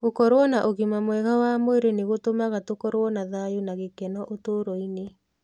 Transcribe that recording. Gũkorũo na ũgima mwega wa mwĩrĩ nĩ gũtũmaga tũkorũo na thayũ na gĩkeno ũtũũro-inĩ.